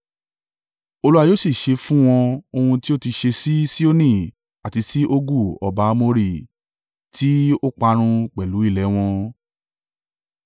Olúwa yóò sì ṣe fún wọn ohun tí ó ti ṣe sí Sihoni àti sí Ogu ọba Amori, tí ó parun pẹ̀lú ilẹ̀ ẹ wọn.